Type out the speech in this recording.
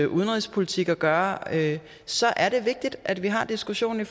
udenrigspolitik at gøre så er det vigtigt at vi har diskussionen i